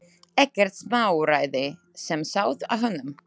Ekkert smáræði sem sauð á honum.